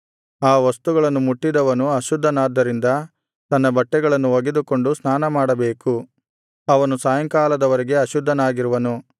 ಆ ವಸ್ತುಗಳನ್ನು ಮುಟ್ಟಿದವನು ಅಶುದ್ಧನಾದ್ದರಿಂದ ತನ್ನ ಬಟ್ಟೆಗಳನ್ನು ಒಗೆದುಕೊಂಡು ಸ್ನಾನಮಾಡಬೇಕು ಅವನು ಸಾಯಂಕಾಲದ ವರೆಗೆ ಅಶುದ್ಧನಾಗಿರುವನು